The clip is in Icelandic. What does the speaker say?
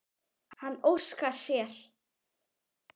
Hann óskar sér.